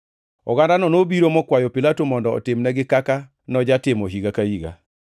Ogandano nobiro mokwayo Pilato mondo otimnegi kaka nojatimo higa ka higa.